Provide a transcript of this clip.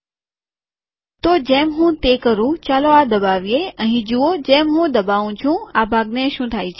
તો જેમ હું તે કરું ચાલો આ દબાવીએ અહીં જુઓ જેમ હું દબાઉં છું આ ભાગને શું થાય છે